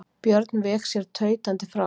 Björn vék sér tautandi frá.